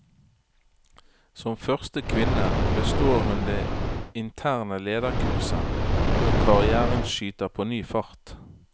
Som første kvinne består hun det interne lederkurset, og karrièren skyter på ny fart.